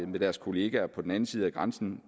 med deres kolleger på den anden side af grænsen